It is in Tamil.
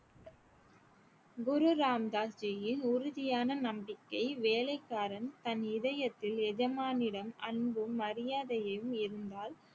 குரு ராம் தாஸ் ஜியின் உறுதியான நம்பிக்கை வேலைக்காரன் தன் இதயத்தில் எஜமானியிடம் அன்பும் மரியாதையையும் இருந்தால்